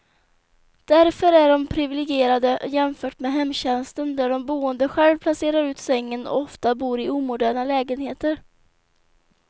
Därför är de priviligierade jämfört med hemtjänsten där de boende själv placerar ut sängen, och ofta bor i omoderna lägenheter.